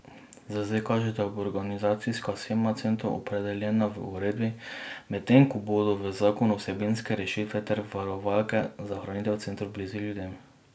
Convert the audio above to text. Za zdaj kaže, da bo organizacijska shema centrov opredeljena v uredbi, medtem ko bodo v zakonu vsebinske rešitve ter varovalke za ohranitev centrov blizu ljudem.